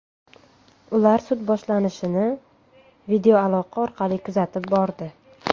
Ular sud boshlanishini videoaloqa orqali kuzatib bordi.